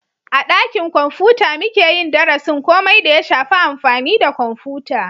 A dakin kwamfuta muke yin darasin komai da ya shafi amfani da kwamfuta